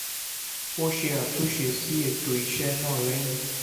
ó ṣe àtúnṣe sí ètò iṣẹ́ náà lẹ́yìn